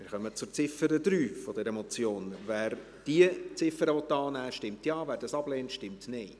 Wer die Ziffer 3 dieser Motion Ziffer annehmen will, stimmt Ja, wer dies ablehnt, stimmt Nein.